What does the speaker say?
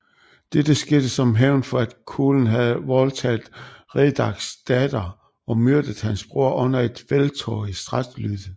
Dette skete som hævn for at Culen havde voldtaget Riderchs datter og myrdet hans bror under et felttog i Strathclyde